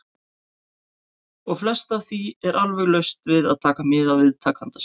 . og flest af því er alveg laust við að taka mið af viðtakanda sínum.